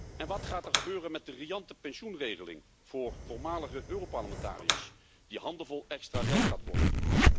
En wat gaat er gebeuren met de riante pensioenregeling voor voormalige Europarlementariërs, die handenvol extra geld gaat kosten?